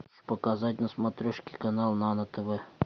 показать на смотрешке канал нано тв